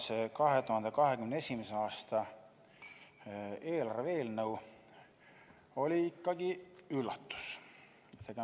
See 2021. aasta eelarve eelnõu oli ikkagi üllatus.